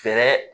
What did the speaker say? Fɛɛrɛ